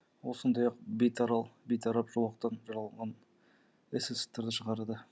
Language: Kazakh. ол сондай ақ бейтарап жолақтан жараланған эсэсовтарды шығарды